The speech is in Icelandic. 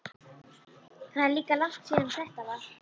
Það er líka langt síðan þetta var.